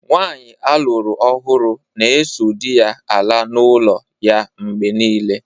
Nwaanyị aluru ọhụrụ na-eso di ya ala n’ụlọ ya mgbe niile.